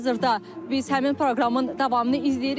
Hazırda biz həmin proqramın davamını izləyirik.